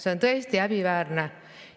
See on tõesti häbiväärne!